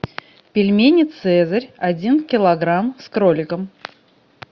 пельмени цезарь один килограмм с кроликом